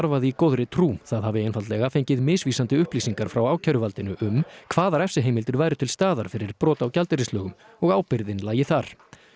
verið í góðri trú það hafi einfaldlega fengið misvísandi upplýsingar frá ákæruvaldinu um hvaða refsiheimildir væru til staðar fyrir brot á gjaldeyrislögum og ábyrgðin lægi þar